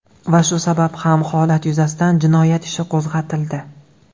Va shu sabab ham holat yuzasidan jinoyat ishi qo‘zg‘atildi.